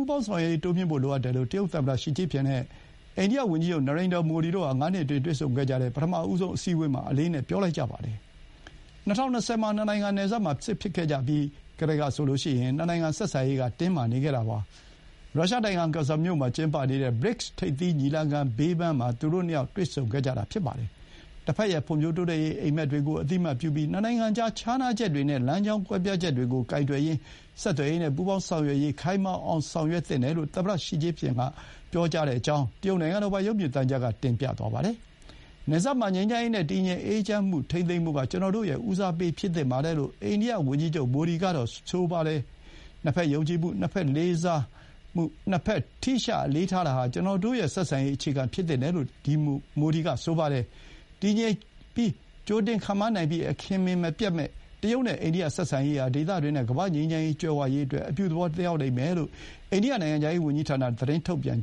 ူးပေါင်းဆောင်ရွက်ရေး တိုးမြှင့်ဖို့လိုအပ်တယ်လို့ တရုတ်သမ္မတ ရှီကျင့်ဖျင် နဲ့ အိန္ဒိယ ဝန်ကြီးချုပ် နရိန္ဒာ မိုဒီ တို့ဟာ ငါးနှစ်အတွင်း တွေ့ဆုံကြတဲ့ ပထမဆုံး အစည်းအဝေးမှာ အလေးအနက် ပြောလိုက်ကြပါတယ်။ ၂၀၂၀ မှာ နှစ်နိုင်ငံနယ်စပ်မှာ စစ်ဖြစ်ခဲ့ကြပြီးကတည်းက နှစ်နိုင်ငံဆက်ဆံရေး တင်းမာနေခဲ့တာပါ။ ရုရှားနိုင်ငံ ကာဇန်မြို့ မှာ ကျင်းပနေတဲ့ BRICS ထိပ်သီး ညီလာခံ ဘေးပန်းမှာ သူတို့ နှစ်ယောက် တွေ့ဆုံခဲ့ကြတာပါ။ တဘက်ရဲ့ ဖွံ့ဖြိုးတိုးတက်ရေးအိပ်မက်တွေကို အသိအမှတ်ပြုပြီး၊ နှစ်နိုင်ငံကြား ခြားနားချက်တွေနဲ့ လမ်းကြောင်း ကွဲပြားချက်တွေကိုကိုင်တွယ်ရင်း ဆက်သွယ်ရေးနဲ့ ပူးပေါင်း ဆောင်ရွက်ရေး ခိုင်မာအောင် ဆောင်ရွက်သင့်တယ်လို့ သမ္မတရှီကျင့်ဖျင်က ပြောကြောင်း တရုတ်နိုင်ငံတော်ပိုင် ရုပ်မြင်သံကြားကတင်ပြသွားပါတယ်။ နယ်စပ်မှာ ငြိမ်းချမ်းရေးနဲ့ တည်ငြိမ်အေးချမ်းမှုထိန်းသိမ်းဖို့က ကျွန်တော်တို့ရဲ့ ဦးစားပေး ဖြစ်သင့်ပါတယ်လို့ အိန္ဒိယဝန်ကြီးချုပ် မိုဒီကပြောပါတယ်။ နှစ်ဖက်ယုံကြည်မှု၊ နှစ်ဖက်လေးစား၊ နှစ်ဖက်ထိရှ အလေးထားတာဟာ ကျွန်တော်တို့ရဲ့ ဆက်ဆံရေး အခြေခံ ဖြစ်သင့်တယ်လို့ မိုဒီက ဆိုပါတယ်။ တည်ငြိမ်၊ ကြိုတင် ခန့်မှန်းနိုင်ပြီး၊ အခင်မင်မပျက်မယ့် တရုတ်နဲ့ အိန္ဒိယ ဆက်ဆံရေးဟာ ဒေသတွင်းနဲ့ ကမ္ဘာ့ ငြိမ်းချမ်း ကြွယ်ဝရေးအတွက် အပြုသဘော သက်ရောက်လိမ့်မယ်လို့ အိန္ဒိယနိုင်ငံခြားရေး ဝန်ကြီးဌာနက သတင်းထုတ်ပြန်